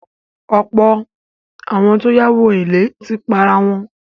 Ọ̀pọ̀ àwọn tó yáwó èlé ti parawọn.